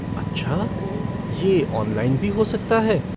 अच्छा ये ऑनलाइन भी हो सकता है?